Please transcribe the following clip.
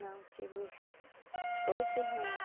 Não, tive oito irmãos.